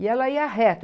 E ela ia reto.